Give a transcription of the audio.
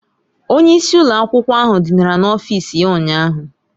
Onye isi ụlọ akwụkwọ ahụ dinara n'ọfịs ya ụnyahụ.